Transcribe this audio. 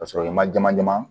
Ka sɔrɔ i ma jama jama